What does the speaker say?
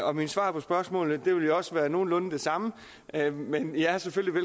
og mine svar på spørgsmålene vil jo også være nogenlunde de samme men i er selvfølgelig